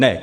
Ne.